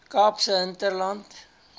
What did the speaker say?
kaapse hinterland